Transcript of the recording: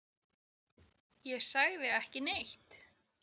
Ég sagði ekki neitt.